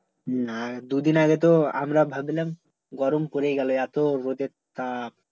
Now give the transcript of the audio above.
না দু দিন আগে তো আমরা ভাবছিলাম, গরম পরে গেলো এতো রোদের তাপ